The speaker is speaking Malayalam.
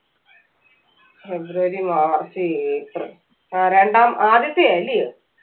ഫെബ്രുവരി മാർച്ച് ഏപ്രിൽ ഏർ രണ്ടാം ആദ്യത്തെ ആല്ലേ